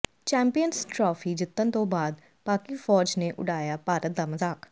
champions trophy ਜਿੱਤਣ ਤੋਂ ਬਾਅਦ ਪਾਕਿ ਫ਼ੌਜ ਨੇ ਉਡਾਇਆ ਭਾਰਤ ਦਾ ਮਜ਼ਾਕ